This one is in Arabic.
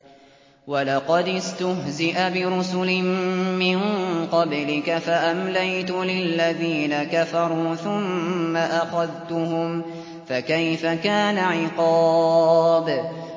وَلَقَدِ اسْتُهْزِئَ بِرُسُلٍ مِّن قَبْلِكَ فَأَمْلَيْتُ لِلَّذِينَ كَفَرُوا ثُمَّ أَخَذْتُهُمْ ۖ فَكَيْفَ كَانَ عِقَابِ